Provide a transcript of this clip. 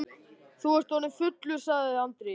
Þú ert orðinn fullur, sagði Andri.